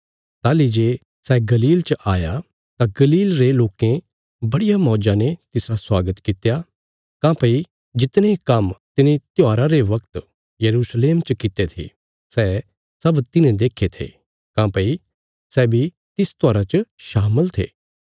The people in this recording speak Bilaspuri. ताहली जे सै गलील च आया तां गलील रे लोकें बड़िया मौज्जा ने तिसरा स्वागत कित्या काँह्भई जितने काम्म तिने त्योहारा रे बगत यरूशलेम च कित्ते थे सै सब तिन्हे देक्खे थे काँह्भई सै बी तिस त्योहारा च शामल थे